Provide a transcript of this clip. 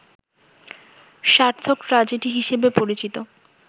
সার্থক ট্রাজেডি হিসেবে পরিচিত